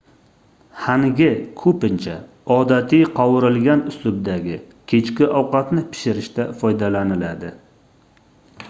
hangi koʻpincha odatiy qovurilgan uslubdagi kechki ovqatni pishirishda foydalaniladi